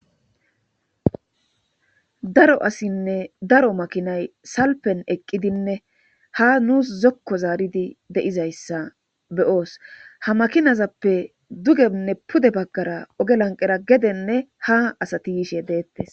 Daro asinne daro makinay salpen eqqidinne ha nuus zokko zaaridi deizayssa beyoos ha makinazappe dugenne pude baggara oge lanqera gedenne ha asati yishe deettes.